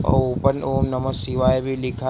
और ऊपर ओम नमः शिवाय भी लिखा--